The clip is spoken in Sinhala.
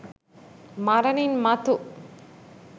මරණින් මතු